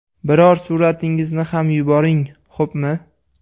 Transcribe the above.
Biror suratingizni ham yuboring, xo‘pmi?